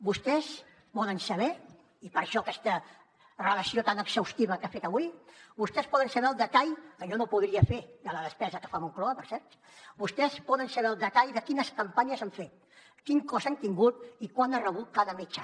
vostès poden saber i per això aquesta relació tan exhaustiva que ha fet avui el detall que jo no podria fer de la despesa que fa moncloa per cert de quines campanyes s’han fet quin cost han tingut i quant ha rebut cada mitjà